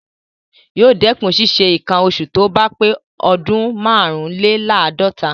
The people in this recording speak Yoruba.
Yóò dẹkùn ṣísẹ nǹkan oṣù tóbá pé ọdún márùnlèláàdọ́ta.